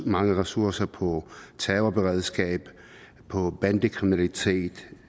mange ressourcer på terrorberedskab på bandekriminalitet